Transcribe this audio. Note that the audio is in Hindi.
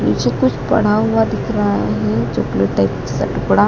मुझे कुछ पड़ा हुआ दिख रहा है ये चॉकलेट टाइप सा टुकड़ा--